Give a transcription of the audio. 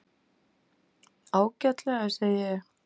Ágætlega, segi ég.